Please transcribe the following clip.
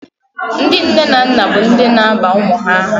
Ndị nne na nna bụ ndị na-aba ụmụ ha aha